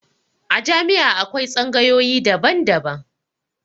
A jami'a akwai tsangayoyi daban-daban.